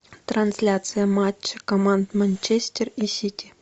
трансляция матча команд манчестер и сити